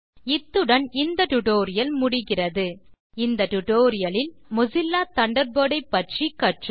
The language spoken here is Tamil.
இத்துடன் இந்த டியூட்டோரியல் முடிகிறது இந்த டியூட்டோரியல் இல் நாம் மொசில்லா தண்டர்பர்ட் பற்றி கற்றோம்